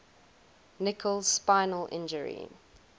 nicholls spinal injury